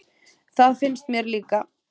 Það finnst mér líka.